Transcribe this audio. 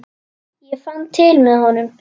Ég fann til með honum.